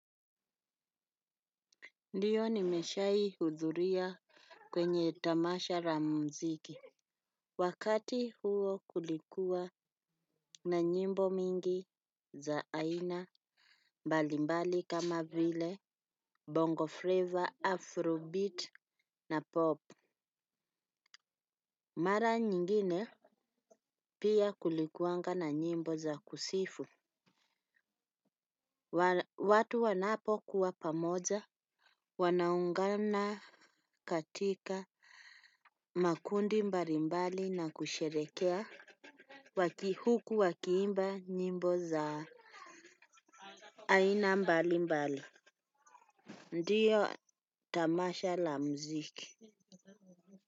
Ndio nimeshawahi hudhuria kwenye tamasha la muziki. Wakati huo kulikuwa na nyimbo mingi za aina mbalimbali kama vile bongo flava, afrobeat na pop. Mara nyingine pia kulikua na nyimbo za kusifu. Watu wanapo kuwa pamoja. Wanaungana katika makundi mbali mbali na kusherehekea waki huku wakiimba nyimbo za aina mbali mbali. Ndio tamasha la muziki.